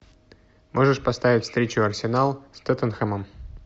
можешь поставить встречу арсенал с тоттенхэмом